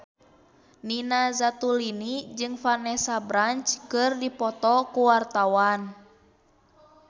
Nina Zatulini jeung Vanessa Branch keur dipoto ku wartawan